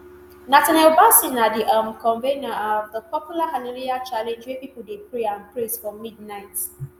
nathaniel bassey na di um convener um of di popular hallelujahchallenge wia pipo dey pray and praise for midnight